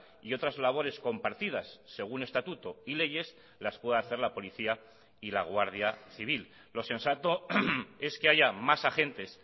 y otras labores compartidas según estatuto y leyes las puede hacer la policía y la guardia civil lo sensato es que haya más agentes